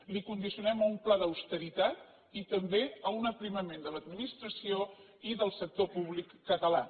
l’hi condicionem a un pla d’austeritat i també a un aprimament de l’administració i del sector públic català